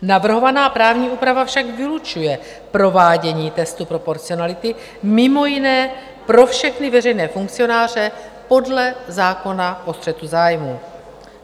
Navrhovaná právní úprava však vylučuje provádění testu proporcionality mimo jiné pro všechny veřejné funkcionáře podle zákona o střetu zájmů.